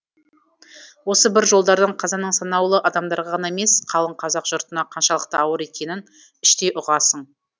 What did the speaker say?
осы бір жолдардан қазаның санаулы адамдарға ғана емес қалың қазақ жұртына қаншалықты ауыр екенін іштей ұғасың